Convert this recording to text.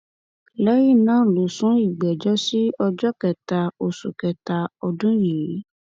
lẹyìn náà ló sún ìgbẹjọ sí ọjọ kẹta oṣù kẹta ọdún yìí